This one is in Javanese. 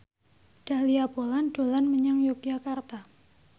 Dahlia Poland dolan menyang Yogyakarta